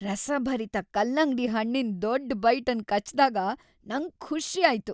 ರಸಭರಿತ ಕಲ್ಲಂಗಡಿ ಹಣ್ಣಿನ್ ದೊಡ್ ಬೈಟ್ ಅನ್ ಕಚ್ದಾಗ ನಂಗ್ ಖುಷಿ ಆಯ್ತು.